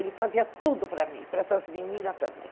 Ele fazia tudo para mim, para essas meninas também.